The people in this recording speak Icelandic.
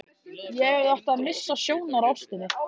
Ég hefði átt að missa sjónar á ástinni.